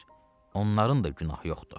Xeyr, onların da günahı yoxdur.